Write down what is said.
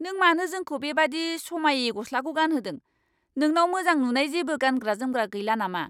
नों मानो जोंखौ बेबादि समायै गस्लाखौ गानहोदों? नोंनाव मोजां नुनाय जेबो गानग्रा जोमग्रा गैला नामा?